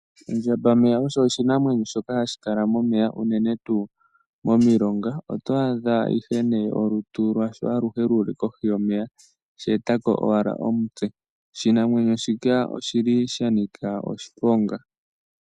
Ondjamba-meya osho oshinamwenyo shoka hashi kala momeya unene tuu momilonga. Oto adha olutu lwasho aluhe luli kohi yomeya, tashi eta ko ashike omutse. Oshinamwenyo shika oshi li sha nika oshiponga.